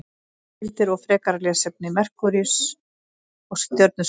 Heimildir og frekara lesefni: Merkúríus- Stjörnuskoðun.